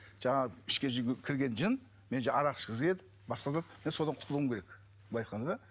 жаңағы ішке кірген жын мені арақ ішкізеді басқа да мен содан құтылуым керек былай айтқанда